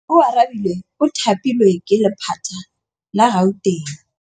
Oarabile o thapilwe ke lephata la Gauteng.